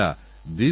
এজন্য এটা বুঝুন